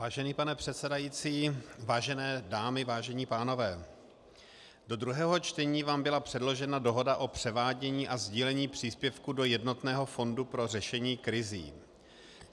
Vážený pane předsedající, vážené dámy, vážení pánové, do druhého čtení vám byla předložena Dohoda o převádění a sdílení příspěvku do jednotného fondu pro řešení krizí.